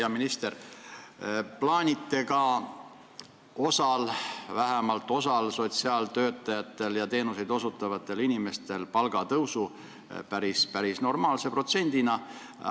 Hea minister, plaanite ka vähemalt osa sotsiaaltöötajate ja teenuseid osutavate inimeste palga tõusu päris normaalse protsendina.